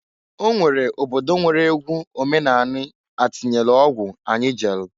Onwere obodo nwere egwu omenani atịnyelu ọgwụ anyi jelu.